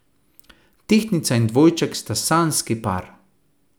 Tehtnica in dvojček sta sanjski par.